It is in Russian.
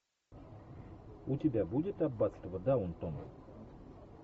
у тебя будет аббатство даунтон